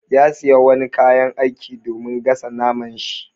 Ya siya wani kayan aiki domin gasa naman shi.